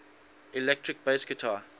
electric bass guitar